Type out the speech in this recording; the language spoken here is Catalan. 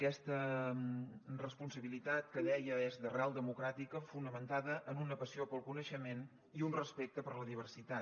aquesta responsabilitat que deia és d’arrel democràtica fonamentada en una passió pel coneixement i un respecte per la diversitat